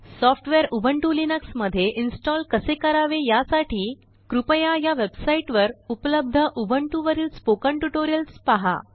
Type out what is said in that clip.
software Ubuntu Linux मध्येइंस्टाल कसे करावे यासाठी कृपया या वेबसाइटवर उपलब्धउबंटू वरील स्पोकन ट्यूटोरियल्स पहा